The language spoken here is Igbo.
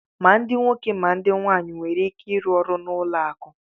Ma ndị nwoke ma ndị nwaanyị nwere ike ịrụ ọrụ na ụlọ akụ